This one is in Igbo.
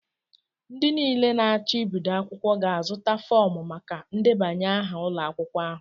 Ndị niile na-acho Ibido akwukwo ga-azụta fọọmu maka ndebanye aha ụlọ akwụkwọ ahu